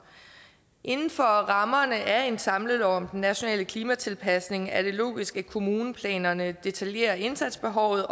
inden for rammerne af en samlelov om den nationale klimatilpasning er det logisk at kommuneplanerne detaljerer indsatsbehovet